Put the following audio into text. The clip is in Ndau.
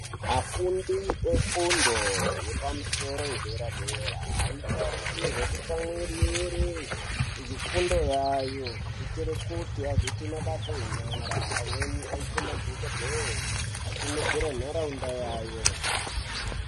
Afundi vefundo vefundi yepadera dera vanotarisirwa kutsimwirira zvifundo zvawo zvinokonzera kuti aite mabasa enyara amweni madhokodheya munharaunda yawo.